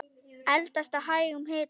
Eldast á hægum hita.